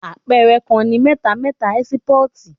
Àpẹẹrẹ kàn ni mẹtà mẹta ẹsipọti.